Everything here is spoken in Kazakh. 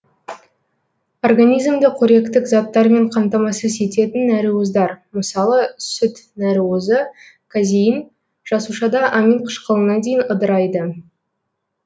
организмді коректік заттармен қамтамасыз ететін нәруыздар мысалы сүт нәруызы казеин жасушада аминқышқылына дейін ыдырайды